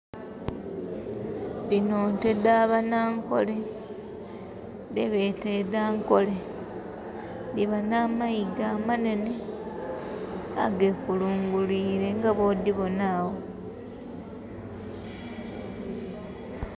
Dhino nte dh'abanankole, dhebeeta ed'ankole. Dhiba namayiga amanene, agekulungulwiile nga bwodhibona awo.